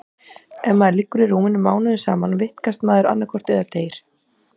Ef maður liggur í rúminu mánuðum saman vitkast maður annaðhvort eða deyr.